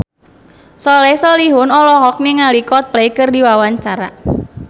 Soleh Solihun olohok ningali Coldplay keur diwawancara